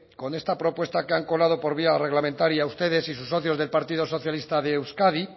con esta propuesta que han colado por vía reglamentaria ustedes y sus socios del partido socialista de euskadi